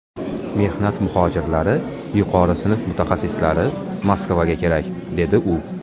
Mehnat muhojirlari, yuqori sinf mutaxassislari Moskvaga kerak”, dedi u.